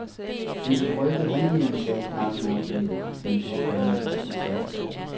Det vil røbe handlingen, sagde knarken afdæmpet, men påfaldende beslutsomt.